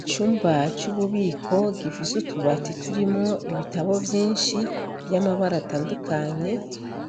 Icumba c'ububiko gifise utubati turimwo ibitabo vyinshi vy'amabara atandukanye